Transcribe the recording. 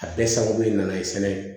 A bɛɛ sababu nana sɛnɛ ye